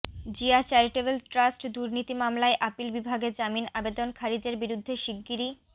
Zia charitable trust দুর্নীতি মামলায় appeal বিভাগে জামিন আবেদন খারিজের বিরুদ্ধে শিগগিরই